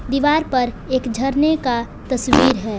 दीवार पर एक झरने का तस्वीर है।